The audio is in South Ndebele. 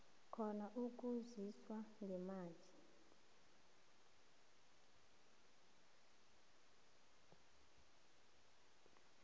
khona ukusizwa ngemali